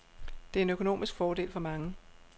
Det er en økonomisk fordel for mange.